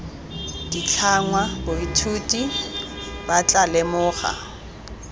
ditlhangwa baithuti ba tla lemoga